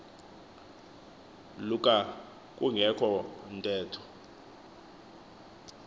luka kungekho ntetho